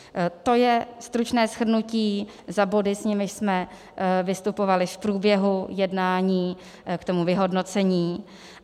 To je stručné shrnutí za body, s nimiž jsme vystupovali v průběhu jednání k tomu vyhodnocení.